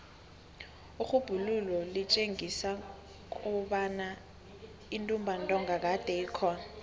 irhubhululo litjengisa kobana intumbantonga kade ikhona